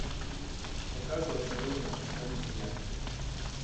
показывай осторожно обезьянки